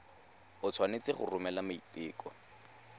o tshwanetse go romela maiteko